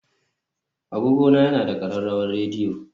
Agogona yana da ƙararrawar rediyo